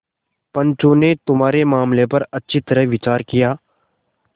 पंचों ने तुम्हारे मामले पर अच्छी तरह विचार किया